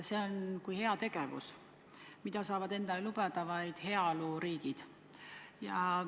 See on kui heategevus, mida saavad endale lubada vaid heaoluriigid.